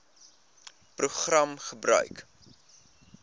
program gebruik